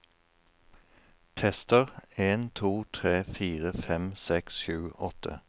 Tester en to tre fire fem seks sju åtte